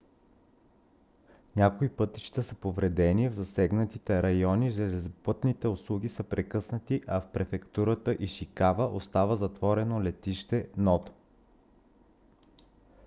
някои пътища са повредени в засегнатите райони железопътните услуги са прекъснати а в префектура ишикава остава затворено летище ното